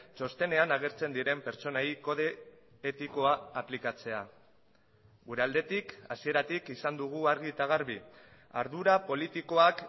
txostenean agertzen diren pertsonei kode etikoa aplikatzea gure aldetik hasieratik izan dugu argi eta garbi ardura politikoak